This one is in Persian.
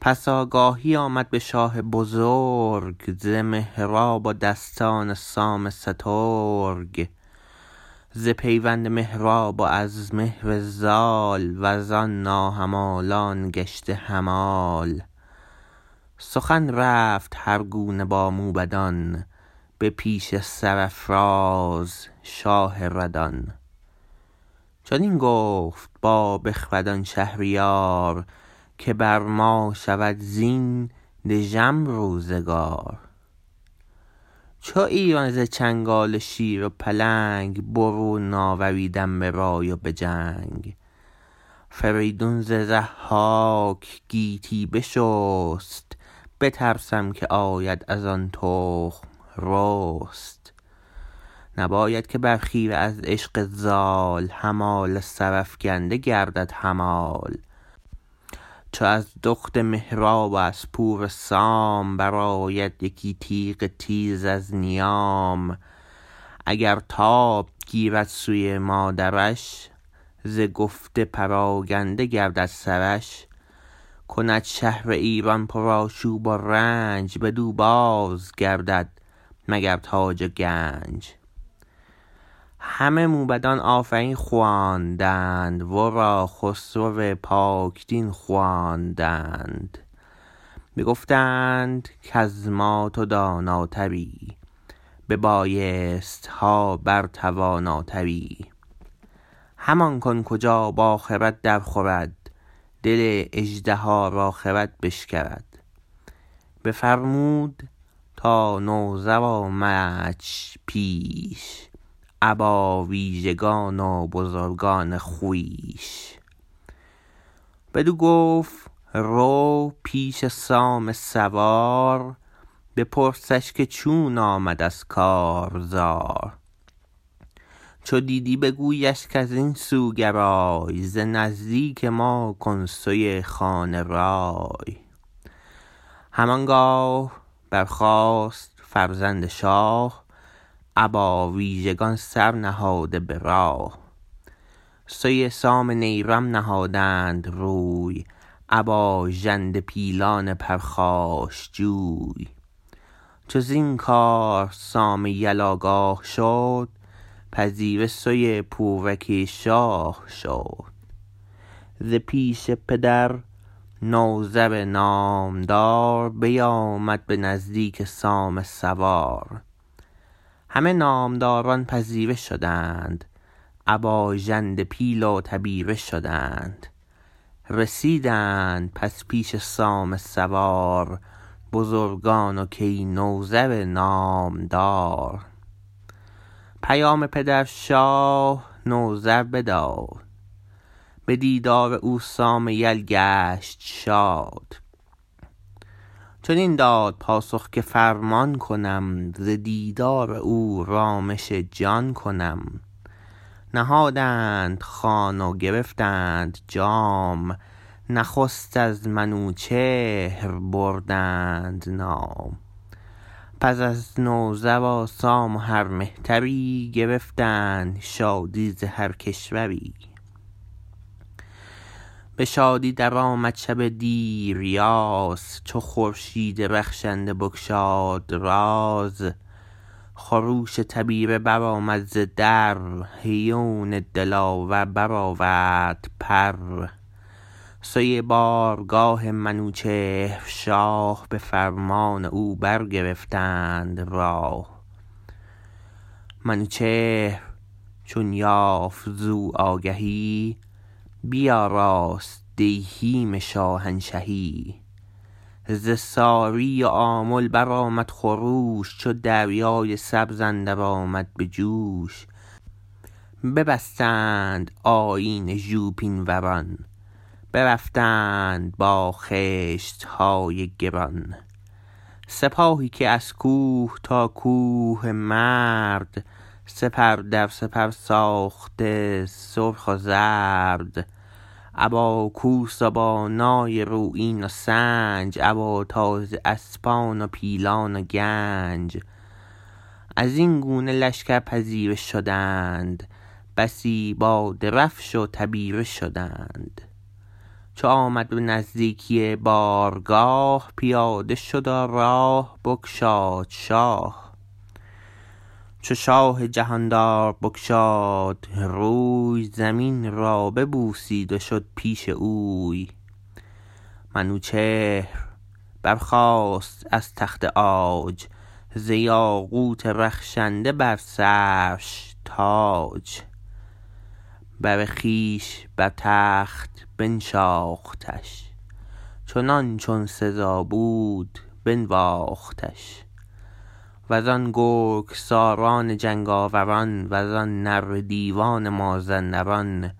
پس آگاهی آمد به شاه بزرگ ز مهراب و دستان سام سترگ ز پیوند مهراب وز مهر زال وزان ناهمالان گشته همال سخن رفت هر گونه با موبدان به پیش سرافراز شاه ردان چنین گفت با بخردان شهریار که بر ما شود زین دژم روزگار چو ایران ز چنگال شیر و پلنگ برون آوریدم به رای و به جنگ فریدون ز ضحاک گیتی بشست بترسم که آید ازان تخم رست نباید که بر خیره از عشق زال همال سرافگنده گردد همال چو از دخت مهراب و از پور سام برآید یکی تیغ تیز از نیام اگر تاب گیرد سوی مادرش ز گفت پراگنده گردد سرش کند شهر ایران پر آشوب و رنج بدو بازگردد مگر تاج و گنج همه موبدان آفرین خواندند ورا خسرو پاک دین خواندند بگفتند کز ما تو داناتری به بایستها بر تواناتری همان کن کجا با خرد درخورد دل اژدها را خرد بشکرد بفرمود تا نوذر آمدش پیش ابا ویژگان و بزرگان خویش بدو گفت رو پیش سام سوار بپرسش که چون آمد از کارزار چو دیدی بگویش کزین سو گرای ز نزدیک ما کن سوی خانه رای هم آنگاه برخاست فرزند شاه ابا ویژگان سرنهاده به راه سوی سام نیرم نهادند روی ابا ژنده پیلان پرخاش جوی چو زین کار سام یل آگاه شد پذیره سوی پور کی شاه شد ز پیش پدر نوذر نامدار بیامد به نزدیک سام سوار همه نامداران پذیره شدند ابا ژنده پیل و تبیره شدند رسیدند پس پیش سام سوار بزرگان و کی نوذر نامدار پیام پدر شاه نوذر بداد به دیدار او سام یل گشت شاد چنین داد پاسخ که فرمان کنم ز دیدار او رامش جان کنم نهادند خوان و گرفتند جام نخست از منوچهر بردند نام پس از نوذر و سام و هر مهتری گرفتند شادی ز هر کشوری به شادی درآمد شب دیریاز چو خورشید رخشنده بگشاد راز خروش تبیره برآمد ز در هیون دلاور برآورد پر سوی بارگاه منوچهر شاه به فرمان او برگرفتند راه منوچهر چون یافت زو آگهی بیاراست دیهیم شاهنشهی ز ساری و آمل برآمد خروش چو دریای سبز اندر آمد به جوش ببستند آیین ژوپین وران برفتند با خشتهای گران سپاهی که از کوه تا کوه مرد سپر در سپر ساخته سرخ و زرد ابا کوس و با نای رویین و سنج ابا تازی اسپان و پیلان و گنج ازین گونه لشکر پذیره شدند بسی با درفش و تبیره شدند چو آمد به نزدیکی بارگاه پیاده شد و راه بگشاد شاه چو شاه جهاندار بگشاد روی زمین را ببوسید و شد پیش اوی منوچهر برخاست از تخت عاج ز یاقوت رخشنده بر سرش تاج بر خویش بر تخت بنشاختش چنان چون سزا بود بنواختش وزان گرگ ساران جنگاور ان وزان نره دیوان مازندران